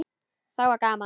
Þá var gaman.